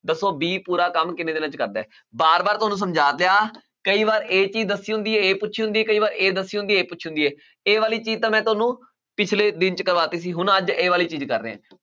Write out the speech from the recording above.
ਦੱਸੋ b ਪੂਰਾ ਕੰਮ ਕਿੰਨੇ ਦਿਨਾਂ 'ਚ ਕਰਦਾ ਹੈ ਵਾਰ ਵਾਰ ਤੁਹਾਨੂੰ ਸਮਝਾ ਕਈ ਵਾਰ ਇਹ ਚੀਜ਼ ਦੱਸੀ ਹੁੰਦੀ ਹੈ ਇਹ ਪੁੱਛੀ ਹੁੰਦੀ ਹੈ, ਕਈ ਵਾਰ ਇਹ ਦੱਸੀ ਹੁੰਦੀ ਹੈ ਇਹ ਪੁੱਛੀ ਹੁੰਦੀ ਹੈ ਇਹ ਵਾਲੀ ਚੀਜ਼ ਤਾਂ ਮੈਂ ਤੁਹਾਨੂੰ ਪਿੱਛਲੇ ਦਿਨ 'ਚ ਕਰਵਾ ਦਿੱਤੀ ਸੀ ਹੁਣ ਅੱਜ ਇਹ ਵਾਲੀ ਚੀਜ਼ ਕਰ ਰਿਹਾਂ,